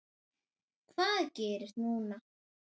Hvað gerist núna?